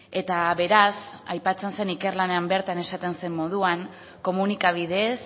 eta beraz aipatzen zen ikerlanean bertan esaten zen moduan komunikabideez